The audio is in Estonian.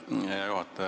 Hea juhataja!